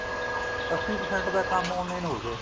ਅੱਸੀ percent ਤਾਂ ਕੰਮ online ਹੋ ਗਿਆ